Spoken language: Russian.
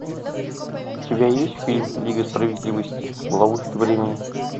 у тебя есть фильм лига справедливости в ловушке времени